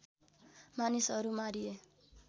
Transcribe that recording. मानिसहरू मारिए